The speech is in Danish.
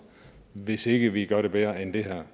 hvis ikke vi gør det bedre end det